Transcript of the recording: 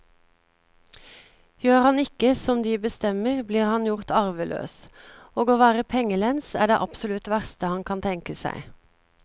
Gjør han ikke som de bestemmer, blir han gjort arveløs, og å være pengelens er det absolutt verste han kan tenke seg.